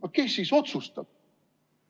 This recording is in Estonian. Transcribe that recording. Aga kes siis otsustab?